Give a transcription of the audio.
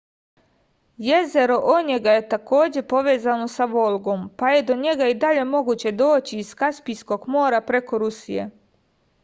jezero onjega je takođe povezano sa volgom pa je do njega i dalje moguće doći iz kaspijskog mora preko rusije